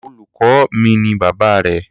Olùkọ́ mi ni bàbá rẹ̀.